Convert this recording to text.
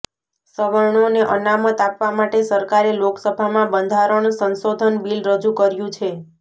સવર્ણોને અનામત આપવા માટે સરકારે લોકસભામાં બંધારણ સંશોધન બિલ રજૂ કર્યું છે